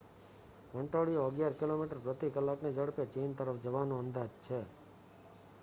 વંટોળિયો અગિયાર કિલોમીટર પ્રતિ કલાકની ઝડપે ચીન તરફ જવાનો અંદાજ છે